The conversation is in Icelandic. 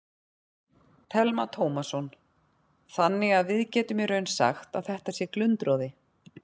Telma Tómasson: Þannig að við getum í raun sagt að þetta sé glundroði?